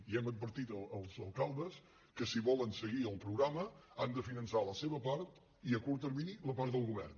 i hem advertit els alcaldes que si volen seguir el programa han de finançar la seva part i a curt termini la part del go·vern